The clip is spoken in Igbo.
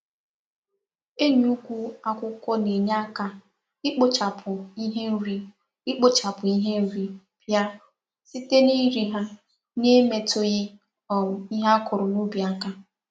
Enyi ụkwụ akwụkwọ na enye aka ikpochapụ ihe nri ikpochapụ ihe nri pịa, site na iri ha, na emetughi um ihe akụrụ na ubi aka